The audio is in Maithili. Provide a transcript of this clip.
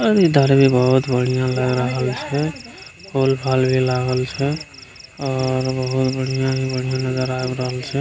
और इधर भी बहुत बढ़ियाँ लग रहल छै फूल-फाल भी लागल छै और बहुत बढ़ियाँ ही बढियाँ नजर आब रहल छै।